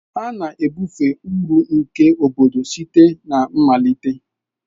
A na-ebufe uru nke obodo site na mmalite.